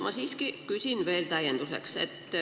Ma siiski küsin veel täienduseks.